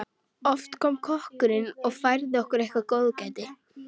Oft kom kokkurinn og færði okkur eitthvert góðgæti.